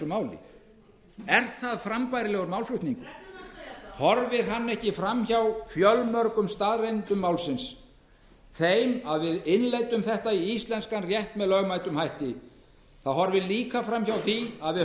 það er ekki frambærilegur málflutningur hann horfir fram hjá staðreyndum málsins hann horfir fram hjá því að við leiddum þetta inn í íslenskan rétt með lögmætum hætti hann horfir líka fram hjá því að við